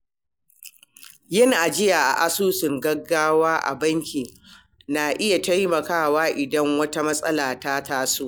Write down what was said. Yin ajiya a asusun gaggawa a banki na iya taimakawa idan wata matsala ta taso.